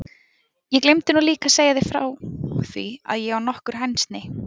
Ég gleymdi nú líka að segja þér frá því að ég á nokkur hænsni.